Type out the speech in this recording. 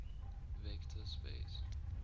vector space